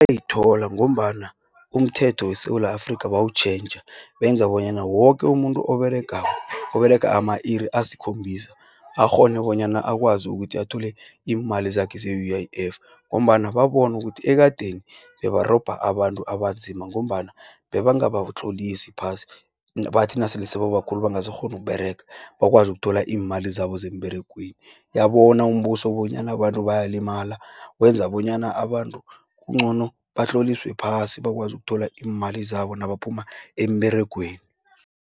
Ithola ngombana umthetho weSewula Afrika bawutjhentjha, benza bonyana woke umuntu oberega, oberega ama-iri askhombisa. Akghone bonyana akwazi ukuthi athole iimali zakhe ze-U_I_F, ngombana babonu ukuthi ekadeni, bebarobha abantu abanzima, ngombana bebangabatlolisi phasi, bathi nasele sebaba khulu bangasakghoni ukUberega, bakwazi ukuthola iimali zabo zemberegweni. Yabo bona umbuso bonyana abantu bayalimala, wenza bonyana abantu kungcono batloliswe phasi, bakwazi ukuthola iimali zabo nabaphuma emberegweni.